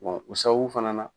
bɔn o sababu fana na